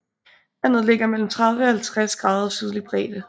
Landet ligger mellem 30 og 50 grader sydlig bredde